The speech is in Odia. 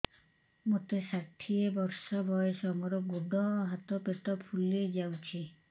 ମୋତେ ଷାଠିଏ ବର୍ଷ ବୟସ ମୋର ଗୋଡୋ ହାତ ପେଟ ଫୁଲି ଯାଉଛି